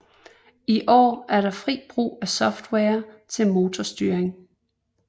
I år er der frit brug af software til motorstyring